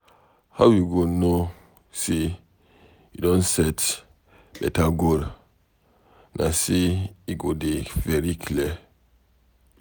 How you go know say you don set beta goal na say e go dey very clear.